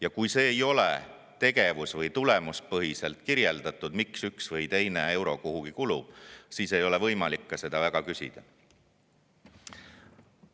Ja kui see ei ole tegevus- või tulemuspõhiselt kirjeldatud, miks üks või teine euro kuhugi kulub, siis ei ole eriti võimalik ka selle kohta küsida.